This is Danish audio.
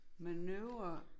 Manøvre